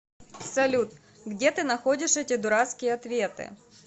салют где ты находишь эти дурацкие ответы